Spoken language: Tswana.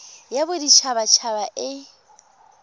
ya bodit habat haba e